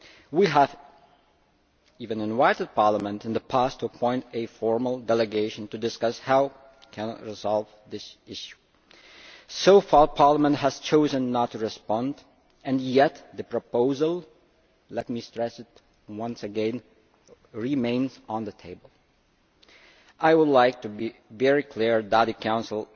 We have even invited Parliament in the past to appoint a formal delegation to discuss how we can resolve this issue. So far Parliament has chosen not to respond and yet the proposal, let me stress once again, remains on the table. I would like to be very clear that the Council